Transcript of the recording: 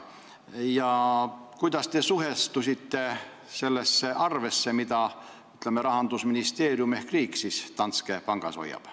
Ja kuidas te suhtute sellesse arvesse, mis Rahandusministeeriumil ehk riigil Danske pangas on?